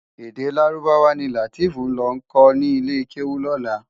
Èdè Lárúbáwá ni Lateef nlò kò ni ilé kéwú lòlá.